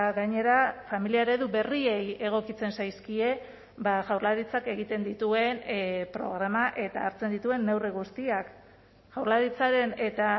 gainera familia eredu berriei egokitzen zaizkie jaurlaritzak egiten dituen programa eta hartzen dituen neurri guztiak jaurlaritzaren eta